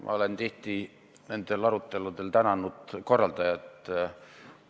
Ma olen tihti nendel aruteludel korraldajat tänanud.